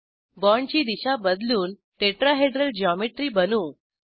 बाँडची दिशा बदलून टेट्राहेड्रल ज्योमेट्री बनवू